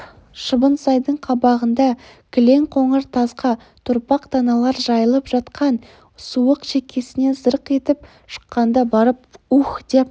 шыбынсайдың қабағында кілең қоңыр қасқа торпақ-таналар жайылып жатқан суық шекесіне зырқ етіп шыққанда барып уһ деп